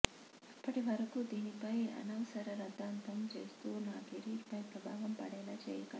అప్పటివరకు దీనిపై అనవసర రాద్దాంతం చేస్తూ నా కెరీర్ పై ప్రభావం పడేలా చేయకండి